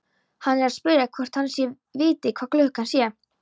Hann er að spyrja hvort hann viti hvað klukkan sé.